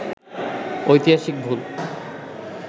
ঐতিহাসিক ভুল